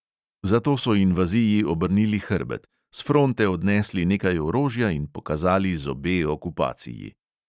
Zato so invaziji obrnili hrbet, s fronte odnesli nekaj orožja in pokazali zobe okupaciji.